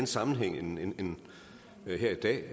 sammenhæng end den her i dag